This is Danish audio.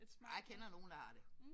Ej jeg kender nogle der har det